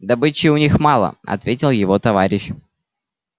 добычи у них мало ответил его товарищ